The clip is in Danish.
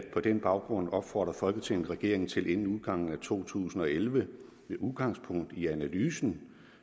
den baggrund opfordrer folketinget regeringen til inden udgangen af to tusind og elleve med udgangspunkt i analysen